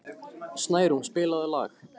Snærún, spilaðu lag.